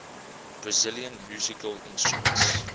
brazilian musical instruments